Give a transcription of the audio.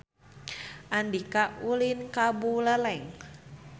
Andika ulin ka Buleleng